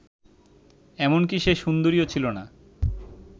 এমনকি সে সুন্দরীও ছিল না